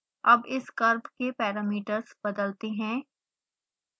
अब इस curve के पैरामीटर्स बदलते हैं